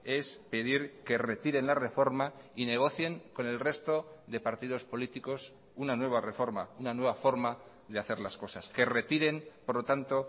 es pedir que retiren la reforma y negocien con el resto de partidos políticos una nueva reforma una nueva forma de hacer las cosas que retiren por lo tanto